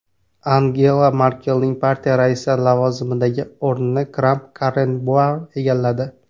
Angela Merkelning partiya raisi lavozimidagi o‘rnini Kramp-Karrenbauer egalladi.